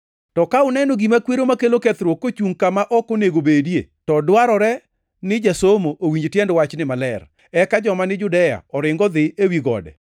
“To ka uneno ‘gima kwero makelo kethruok’ + 13:14 \+xt Dan 9:27; 11:31; 12:11\+xt* kochungʼ kama ok onego obedie, to dwarore ni jasomo owinj tiend wachni maber, eka joma ni Judea oring odhi ewi gode.